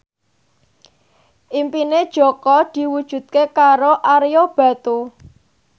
impine Jaka diwujudke karo Ario Batu